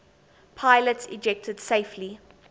pilots ejected safely